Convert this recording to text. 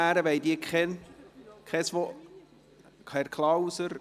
Wollen die Mitmotionäre sprechen?